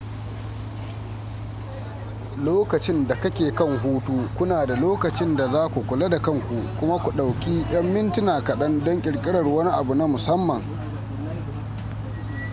lokacin da kake kan hutu kuna da lokacin da za ku kula da kanku kuma ku ɗauki yan mintuna kaɗan don ƙirƙirar wani abu na musamman